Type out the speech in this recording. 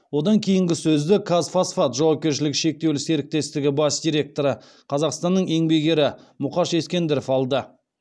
одан кейінгі сөзді казфосфат жауапкерілігі шектеулі серіктестігі бас директоры қазақстанның еңбек ері мұқаш ескендіров алды